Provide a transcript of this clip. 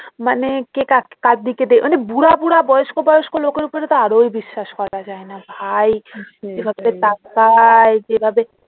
মানে কে কার দিকে দেখ মানে বুড়া বুড়া বয়স্ক বয়স্ক লোকের ওপরে তো এরই বিশ্বাস করা যায় না ভাই যেভাবে তাকায়